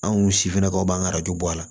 Anw sifinnakaw b'an ka bɔ a la